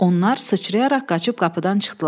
Onlar sıçrayaraq qaçıb qapıdan çıxdılar.